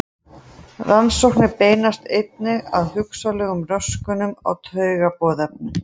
Rannsóknir beinast einnig að hugsanlegum röskunum á taugaboðefnum.